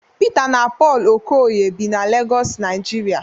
Pita na Pọlụ Okoye bi na Legọs Naijiria